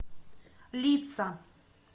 лица